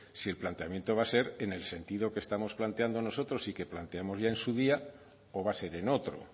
si el planteamiento va a ser en el sentido que estamos planteando nosotros y que planteamos ya en su día o va a ser en otro